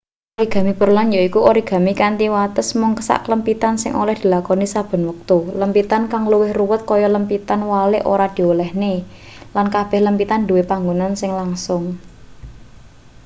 origami pureland yaiku origami kanthi wates mung saklempitan sing oleh dilakoni saben wektu lempitan kang luwih ruwet kaya lempitan walik ora diolehne lan kabeh lempitan duwe panggonan sing langsung